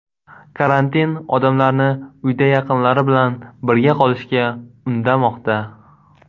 Karantin odamlarni uyda yaqinlari bilan birga qolishga undamoqda.